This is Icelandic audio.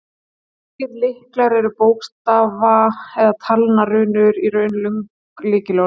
Slíkir lyklar eru bókstafa- eða talnarunur, í raun löng lykilorð.